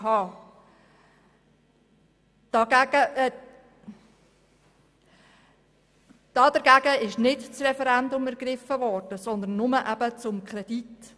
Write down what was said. Gegen das Konzept wurde nicht das Referendum ergriffen, sondern nur gegen den Kredit.